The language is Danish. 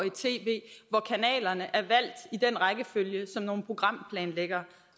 et tv hvor kanalerne er valgt i den rækkefølge som nogle programplanlæggere